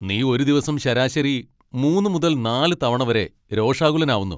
നീ ഒരു ദിവസം ശരാശരി മൂന്ന് മുതൽ നാല് തവണ വരെ രോഷാകുലനാവുന്നു.